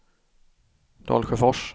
Dalsjöfors